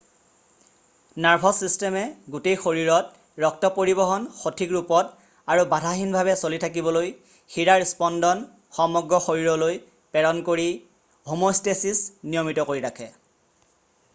nervous ছিষ্টেমে গোটেই শৰীৰত ৰক্ত পৰিবহণ সঠিক ৰূপত আৰু বাধাহীনভাৱে চলি থাকিবলৈ শিৰাৰ স্পন্দন সমগ্ৰ শৰীৰলৈ প্ৰেৰণ কৰি হম'ষ্টেছিছ নিয়মিত কৰি ৰাখে